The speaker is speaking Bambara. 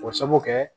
O sababu kɛ